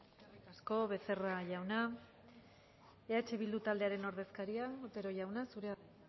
eskerrik asko becerra jauna eh bildu taldearen ordezkaria otero jauna zurea da